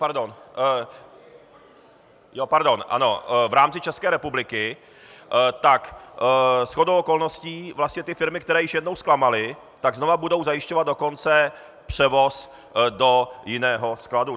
Pardon, ano. .... v rámci České republiky, tak shodou okolností vlastně ty firmy, které již jednou zklamaly, tak znova budou zajišťovat dokonce převoz do jiného skladu.